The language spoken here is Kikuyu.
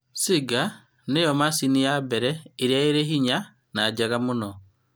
Singer nĩyo macini ya mbere ĩrĩa ĩ ihenya na njega mũno